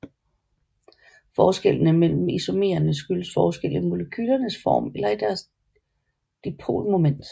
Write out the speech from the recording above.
Forskellene mellem isomererne skyldes forskel i molekylernes form eller i deres dipolmoment